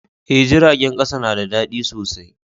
Eh, jiragen kasa na da dadi sosai.